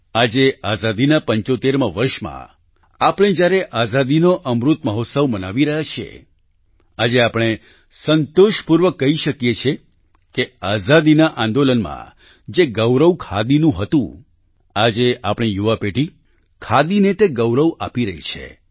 આજે આઝાદીના 75માં વર્ષમાં આપણે જ્યારે આઝાદીનો અમૃત મહોત્સવને મનાવી રહ્યા છીએ આજે આપણે સંતોષપૂર્વક કહી શકીએ છીએ કે આઝાદીના આંદોલનમાં જે ગૌરવ ખાદીનું હતું આજે આપણી યુવા પેઢી ખાદીને તે ગૌરવ આપી રહી છે